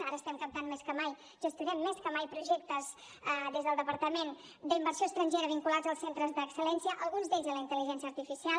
ara estem captant més que mai gestionem més que mai projectes des del departament d’inversió estrangera vinculats als centres d’excel·lència alguns d’ells de la intel·ligència artificial